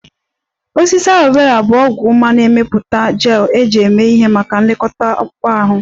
Osisi Aloe Vera bụ ọgwụ ma na-emepụta gel eji eme ihe maka nlekọta akpụkpọ ahụ